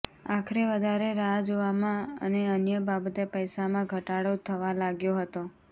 આખરે વધારે રાહ જોવામાં અને અન્ય બાબતે પૈસામાં ઘટાડો થવા લાગ્યો હતો